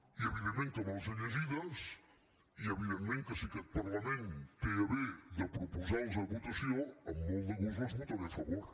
i evidentment que me les he llegides i evidentment que si aquest parlament té a bé de proposar les a votació amb molt de gust les votaré a favor